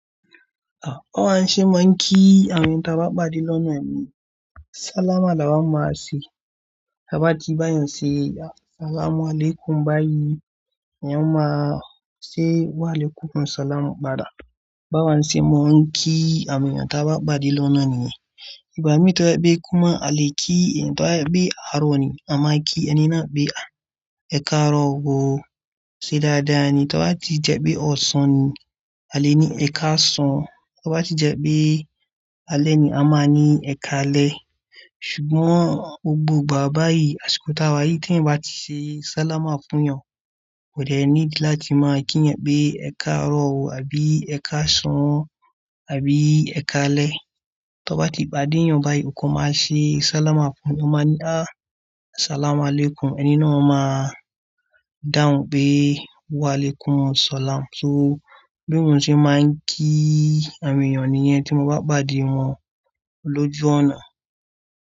À, báwa ṣe máa ń kí àwọn tí a bá pàdé lọ́nà ní? Sálámà la máa ń máa ṣe. Tí a bá ti bá èyàn ṣe as-salamu alaykum báyìí, ènìyàn máa ṣe wa alaykum as-salam padà. Báwo ni ṣe máa ń kí àwọn èèyàn tí a bá pàdé lọ́nà ní? Ìgbámi to bajẹ pé kí èèyàn bi àárọ̀ ni, àma kí ẹni náà pé a ẹ̀kaárọ̀ ó ṣe dáadáa ni. Tí a bá ti jẹ pé ọ̀sán ni, a lè ní ẹ̀kásàn. To bá ti jẹ pé alẹ́ ni, a máa ní èkálẹ̀. Ṣùgbọ́n gbogbo ìgbà báyìí, àsìkò tá wá yìí tí èèyàn bá ti ṣe sálámà fún èyàn, kò dẹ need láti máa kí èèyàn pe ẹ̀kaárọ̀ ò, àbí ẹ̀kásàn, àbí ẹ̀kálẹ̀. Tí a bá ti pàdé èèyàn báyìí, òun kò máa ṣe sálámà fún, ó máa ni á as-salamu alaykum, ẹni náà ó máa dáhùn pé wa alaykum as-salam. So bí mò ń ṣe máa ń kí àwọn èèyàn nìyẹn tí mo bá pàdé wọn lójú ọ̀nà.